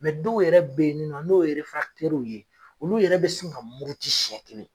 dɔw yɛrɛ bɛ ye nin nɔ n'o ye ye olu yɛrɛ bɛ sin ka muruti siɲɛ kelen.